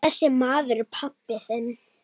Þessi maður er pabbi þinn.